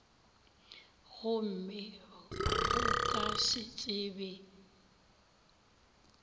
gomme go ka se tsebe